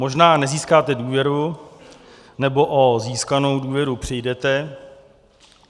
Možná nezískáte důvěru nebo o získanou důvěru přijdete.